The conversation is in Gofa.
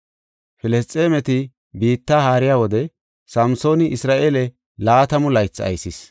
Filisxeemeti biitta haariya wode Samsooni Isra7eele laatamu laythi aysis.